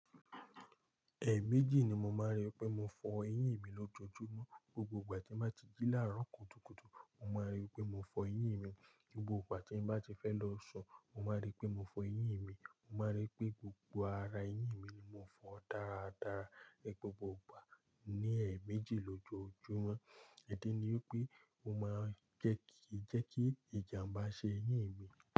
Ẹẹ̀ méjì ni mo máa ń rí pé mo fọ eyín mi lójoojúmọ́. Gbogbo ìgbà tí mo bá ti jí láàárọ̀ kùtùkùtù, mo máa rí pé mo fọ eyín mi. Gbogbo ìgbà tí mo bá ti fẹ́ lọ sùn, mo máa rí pé mo fọ eyín mi. Mo máa rí pé gbogbo ara eyín mi ni mo fọ́n dáradára gbogbo ìgbà ni ẹ̀ẹ̀ méjì lójoojúmọ́. Ìdí ni wipé o máa, kí je kí ìjàǹbá ṣe eyín mi.